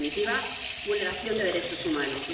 En definitiva vulneración de derechos humanos.